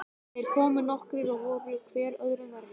Þeir komu nokkrir og voru hver öðrum verri.